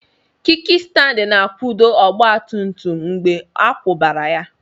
kikistandi na akwudo ọgba tum tum mgbe a kwubara ya